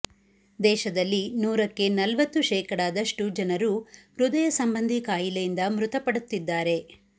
ದೇಶದಲ್ಲಿ ನೂರಕ್ಕೆ ನಲ್ವತ್ತು ಶೇಕಡಾದಷ್ಟು ಜನರು ಹೃದಯ ಸಂಬಂಧಿ ಕಾಯಿಲೆಯಿಂದ ಮೃತಪಡುತ್ತಿದ್ದಾರೆ